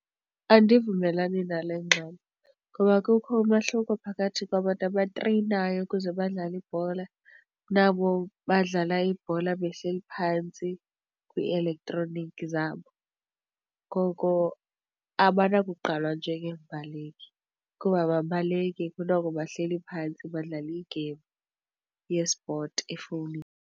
Andivumelani nale ngxelo ngoba kukho umehluko phakathi kwabantu abatreyinayo ukuze badlale ibhola nabo badlala ibhola behleli phantsi kwielektronikhi zabo. Ngoko abanako kuqqalwa njengeembaleki kuba ababaleke, kunoko bahleli phantsi badlala i-game yespoti efowunini.